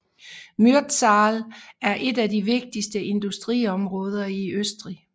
Mürztal er et af de vigtigste industriområder i Østrig